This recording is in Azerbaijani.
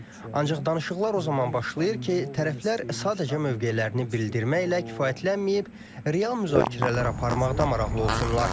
Ancaq danışıqlar o zaman başlayır ki, tərəflər sadəcə mövqelərini bildirməklə kifayətlənməyib, real müzakirələr aparmaqda maraqlı olsunlar.